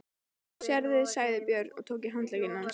Sérðu, sagði Björn og tók í handlegg hans.